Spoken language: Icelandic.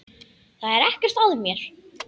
Það er ekkert að mér!